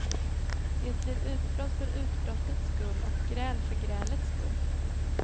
Det blir utbrott för utbrottens skull och gräl för grälets skull.